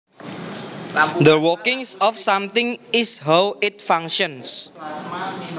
The workings of something is how it functions